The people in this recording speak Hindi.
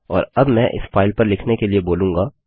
और अब मैं इस फाइल पर लिखने के लिए बोलूँगा